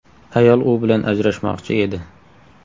Ayol u bilan ajrashmoqchi edi .